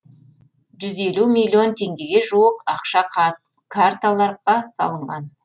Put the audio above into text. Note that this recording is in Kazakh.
жүз елу миллион теңгеге жуық ақша карталарға салынған